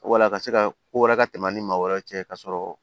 Wala ka se ka ko wɛrɛ ka tɛmɛ an ni maa wɛrɛ cɛ ka sɔrɔ